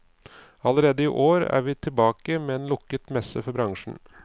Allerede i år er vi tilbake med en lukket messe for bransjen.